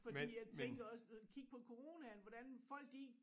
Fordi jeg tænker også kig på coronaen hvordan folk de